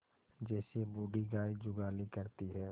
जैसे बूढ़ी गाय जुगाली करती है